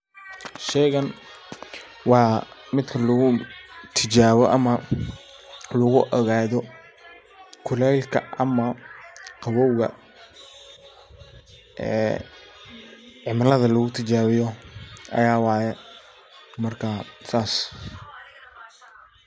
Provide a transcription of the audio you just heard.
Sheeygan wa midhka lagutijaabiyo ama lugu ogaadho kuleelka ama qaboobga ee cimiladha lagutijaabiyo aya waye marka saas